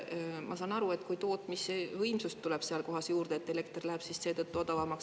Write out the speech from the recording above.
Ma saan aru, et tootmisvõimsust tuleb sealt juurde ja elekter läheb seetõttu odavamaks.